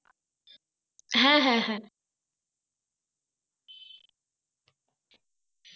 হ্যাঁ হ্যাঁ হ্যাঁ